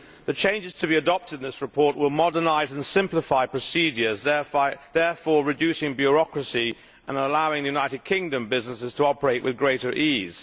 The changes to be adopted in this report will modernise and simplify procedures, therefore reducing bureaucracy and allowing United Kingdom businesses to operate with greater ease.